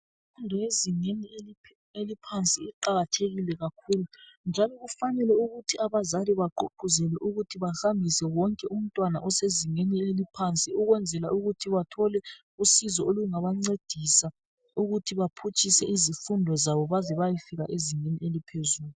Imfundo yezingeni eliphansi iqakathekile kakhulu njalo kufanele ukuthi abazali bagqugquzele ukuthi bahambise wonke umntwana osezingeni eliphansi ukwenzela ukuthi bathole usizo olungabancedisa ukuthi baphutshise izifundo zabo baze bayefika ezingeni eliphezulu.